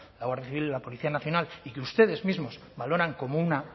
la guardia civil y la policía nacional y que ustedes mismos valoran como una